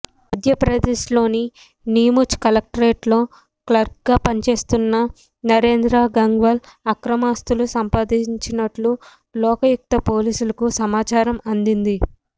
మధ్యప్రదేశ్లోని నీముచ్ కలెక్టరేట్లో క్లర్క్గా పనిచేస్తున్న నరేంద్ర గంగ్వాల్ అక్రమాస్తులు సంపాదించినట్టు లోకాయుక్త పోలీసులకు సమాచారం అందింది